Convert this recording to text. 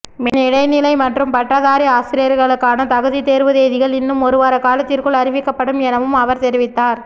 பின்இடைநிலை மற்றும் பட்டதாரி ஆசிரியர்களுக்கான தகுதி தேர்வு தேதிகள் இன்னும் ஒருவார காலத்திற்குள் அறிவிக்கப்படும் எனவும் அவர் தெரிவித்தார்